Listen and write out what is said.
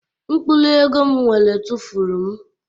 Mkpụrụ ego m nwere tụfuru m